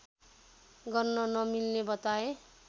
गर्न नमिल्ने बताए